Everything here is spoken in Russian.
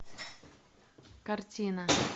картина